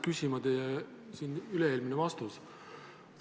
Küsima ajendas teie üle-eelmine vastus.